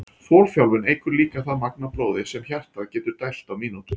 Þolþjálfun eykur líka það magn af blóði sem hjartað getur dælt á mínútu.